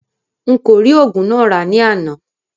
N kò rí oògùn náà rà ní àná